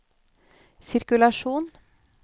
sirkulasjon